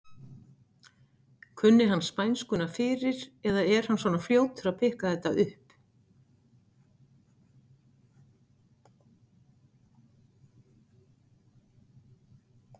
Kunni hann spænskuna fyrir eða er hann svona fljótur að pikka þetta upp?